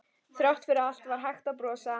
Þrátt fyrir allt var hægt að brosa.